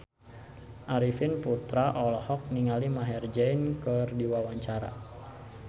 Arifin Putra olohok ningali Maher Zein keur diwawancara